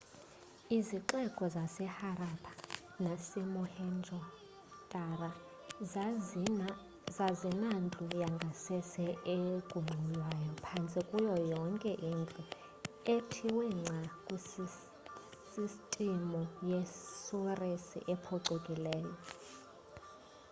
izixeko zaseharappa nasemohenjo-daro zazinandlu yangasese egungxulwayo phantse kuyo yonke indlu ethiwe ngca kwi sistimu yesurisi ephucukileyo